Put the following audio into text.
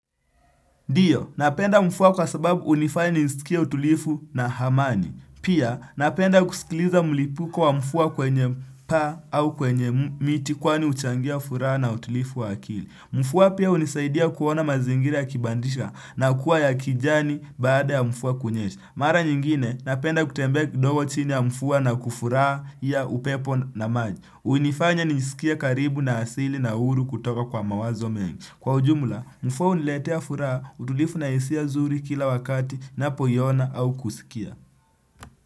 Ndiyo, napenda mvua kwa sababu hunifanya nisikie utulivu na hamani. Pia, napenda kusikiliza mlipuko wa mvua kwenye paa au kwenye miti kwani huchangia furaha na utulivu wa akili. Mvua pia hunisaidia kuona mazingira ya kibandisha na kuwa ya kijani baada ya mvua kunyesha. Mara nyingine, napenda kutembea kidogo chini ya mvua na kufurahia upepo na maji. Hunifanya nisikie karibu na asili na uhuru kutoka kwa mawazo mengi. Kwa ujumla, mvua huniletea furaha, utulivu na hisia nzuri kila wakati napoiona au kusikia.